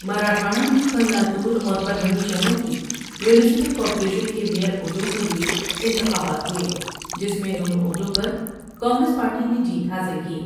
مراٹھواڑہ میں کل Latur Parbhani شہروں کی میونسپل کارپوریشن کے میئر عہدوں کے لیے انتخابات ہوۓ جس میں دونوں عہدوں پر کانگریس پارٹی نے جیت حاصل کی ۔